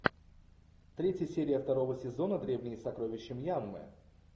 третья серия второго сезона древние сокровища мьянмы